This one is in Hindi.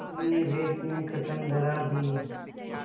तुमने व्यर्थ में कसम धरा दी